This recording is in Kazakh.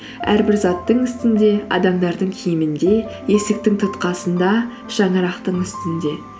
әрбір заттың үстінде адамдардың киімінде есіктің тұтқасында шаңырақтың үстінде